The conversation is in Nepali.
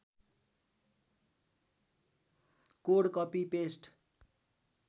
code copy paste